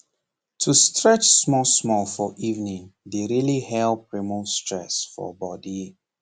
to stretch smallsmall for evening dey really help remove stress for body